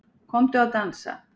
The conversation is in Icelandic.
Komdu að dansa